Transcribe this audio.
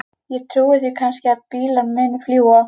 Ég trúi því kannski að bílar muni fljúga.